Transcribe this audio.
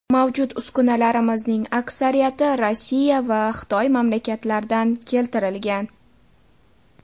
Mavjud uskunalarimizning aksariyati Rossiya va Xitoy mamlakatlaridan keltirilgan.